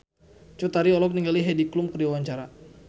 Cut Tari olohok ningali Heidi Klum keur diwawancara